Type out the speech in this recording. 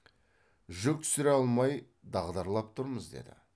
жүк түсіре алмай дағдарлап тұрмыз деді